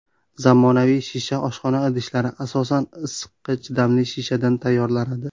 Zamonaviy shisha oshxona idishlari asosan issiqqa chidamli shishadan tayyorlanadi.